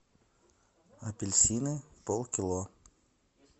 апельсины полкило